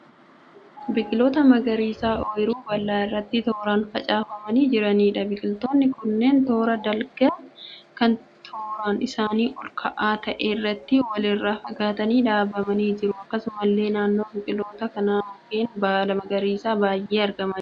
Biqiloota magariisa oyiruu bal'aa irratti tooraan facaafamanii jiraniidha. Biqiloonni kunneen toora dalgaa kan taaroon isaanii ol ka'aa ta'e irratti wal irraa faffagaatanii dhaabamanii jiru. Akkasumallee naannoo biqiloota kanaa mukeen baala magariisaa baay'een argamaa jiru.